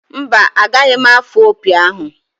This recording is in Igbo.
Mba, anaghị m afụ opi ahụ.